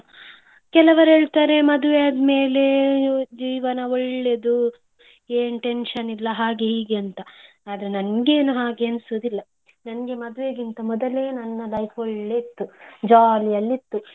ಕೆಲವರ್ ಹೇಳ್ತಾರೆ, ಮದ್ವೆ ಆದ್ಮೇಲೆ ಜೀವನ ಒಳ್ಳೇದು ಏನ್ tension ಇಲ್ಲ ಹಾಗೇ ಹೀಗೆ ಅಂತ. ಆದ್ರೆ ನಂಗೆ ಏನು ಹಾಗೆ ಎಣ್ಸುದಿಲ್ಲ ನನ್ಗೆ ಮದ್ವೆಗಿಂತ ಮೊದಲೇ ನನ್ನ life ಒಳ್ಳೆಯಿತ್ತು, jollyಯಲ್ಲಿ ಇತ್ತು.